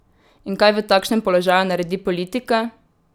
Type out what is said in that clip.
In kaj v takšnem položaju naredi politika?